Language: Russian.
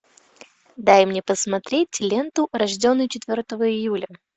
дай мне посмотреть ленту рожденный четвертого июля